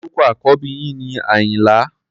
Orúkọ àkọ́bí yín ni Àyìnlá.